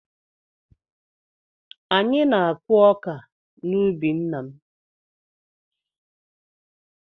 Anyị na-akụ ọka n’ubi nna m